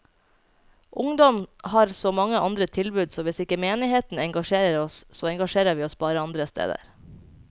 Ungdom har så mange andre tilbud, så hvis ikke menigheten engasjerer oss, så engasjerer vi oss bare andre steder.